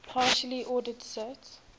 partially ordered set